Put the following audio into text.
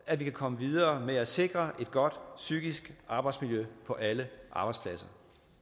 at vi kan komme videre med at sikre et godt psykisk arbejdsmiljø på alle arbejdspladser